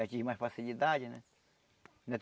Já tive mais facilidade, né?